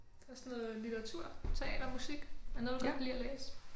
Der er sådan litteratur teater musik. Er der noget du godt kan lide at læse?